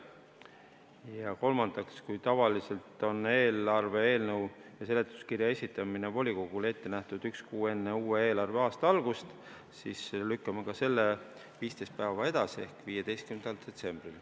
Ja kolmandaks, kui tavaliselt on eelarve eelnõu ja seletuskirja esitamine volikogule ette nähtud üks kuu enne uue eelarveaasta algust, siis nüüd lükkame ka selle 15 päeva edasi ehk tähtaeg on 15. detsember.